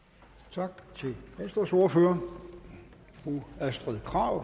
tak til venstres ordfører fru astrid krag